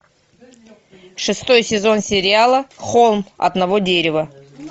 шестой сезон сериала холм одного дерева